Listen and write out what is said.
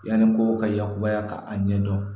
Yanni mɔgɔw ka yakubaya k'a ɲɛ dɔn